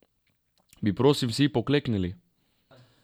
Bi, prosim, vsi pokleknili?